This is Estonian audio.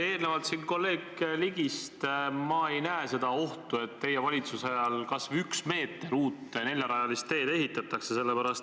Erinevalt kolleeg Ligist ma ei näe seda ohtu, et teie valitsuse ajal kas või üks meeter uut neljarajalist teed ehitatakse.